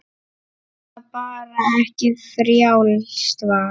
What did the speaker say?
Eða bara ekki, frjálst val.